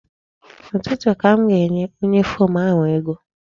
N'ụtụtụ ka m ga-enye onye fom ahụ ego.